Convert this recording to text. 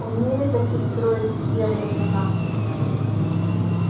умели-таки строить в те времена